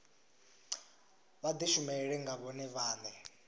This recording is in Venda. vha dishumele nga vhone vhane